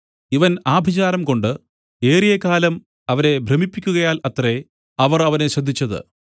ഇവൻ ആഭിചാരംകൊണ്ട് ഏറിയകാലം അവരെ ഭ്രമിപ്പിക്കുകയാൽ അത്രേ അവർ അവനെ ശ്രദ്ധിച്ചത്